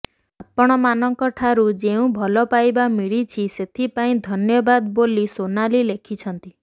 ଆପଣଙ୍କମାନଙ୍କ ଠାରୁ ଯେଉଁ ଭଲପାଇବା ମିଳିଛି ସେଥିପାଇଁ ଧନ୍ୟବାଦ ବୋଲି ସୋନାଲି ଲେଖିଛନ୍ତି